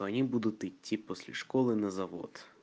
они будут идти после школы на завод